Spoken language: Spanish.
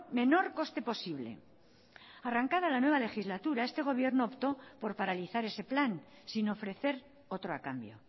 menor coste posible arrancada la nueva legislatura este gobierno optó por paralizar ese plan sin ofrecer otro a cambio